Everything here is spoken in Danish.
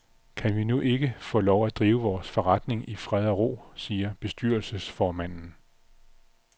Kan vi nu ikke få lov til at drive vores forretning i fred og ro, siger bestyrelsesformanden.